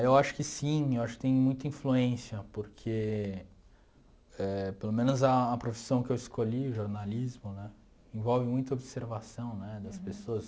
Eu acho que sim, eu acho que tem muita influência, porque eh... Pelo menos a a profissão que eu escolhi, o jornalismo né, envolve muita observação né das pessoas.